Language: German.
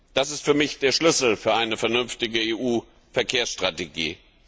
Das ist für mich der Schlüssel für eine vernünftige EU Verkehrsstrategie.